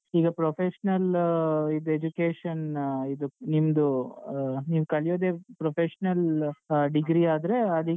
Professional ಇದ್ education ಇದು ನಿಮ್ದು ಆ ನೀವ್ ಕಲಿಯೋದೆ professional ಆ degree ಆದ್ರೆ ಹ ಅದಿಕ್ಕೆ.